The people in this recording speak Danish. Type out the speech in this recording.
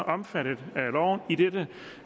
omfattet af loven idet